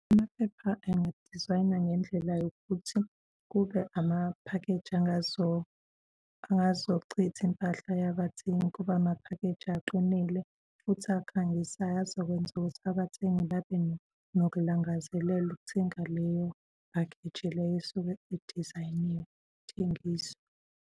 Amaphepha engadizayinwa ngendlela yokuthi kube amaphakheji angazochitha impahla yazabathengi kube amaphakheji aqinile futhi akhangisayo azokwenza ukuthi abathengi babe nokulangazelela ukuthenga leyo bakheji leyo esuke idizayiniwe ithengiswa.